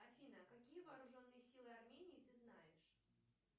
афина какие вооруженные силы армении ты знаешь